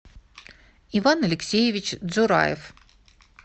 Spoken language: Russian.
иван алексеевич джураев